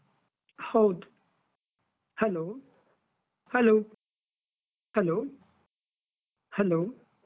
ಹೌದು, hello, hello, hello, hello .